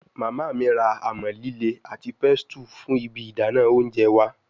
Mama mi ra amọ-lile ati pestle fun ibi idana ounjẹ wa